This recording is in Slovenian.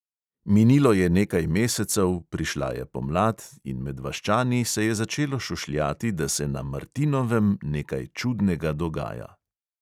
Minilo je nekaj mesecev, prišla je pomlad in med vaščani se je začelo šušljati, da se na martinovem nekaj čudnega dogaja.